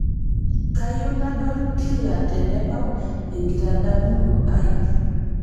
kayieu nadol kila tenebau enkitadamuno aai